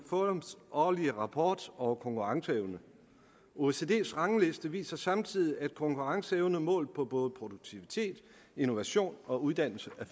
forums årlige rapport over konkurrenceevne oecd’s rangliste viser samtidig at konkurrenceevnen målt på både produktivitet innovation og uddannelse